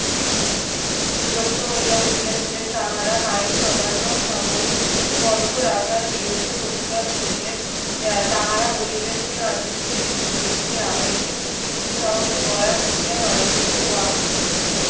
বিরক্ত হইয়া উঠিয়াছিলেন। তাহারা আইন অমান্য সাময়িক বন্ধ রাখার বিরুদ্ধে প্রতিবাদ করিলেন। আহ তাহারা বলিলেন যে, গান্ধীজীর রীতি দেশের আবেগকে, উৎসাহকে গলা টিপিয়া মারিতেছে। working